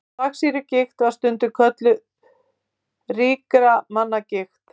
Þvagsýrugigt var stundum kölluð ríkra manna gigt.